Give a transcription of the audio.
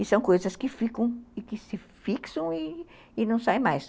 E são coisas que ficam e que se fixam e não saem mais.